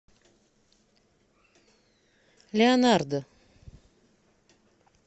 леонардо